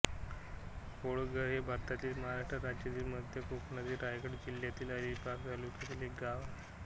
कोळघर हे भारतातील महाराष्ट्र राज्यातील मध्य कोकणातील रायगड जिल्ह्यातील अलिबाग तालुक्यातील एक गाव आहे